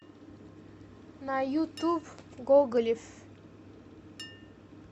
на ютуб гоголев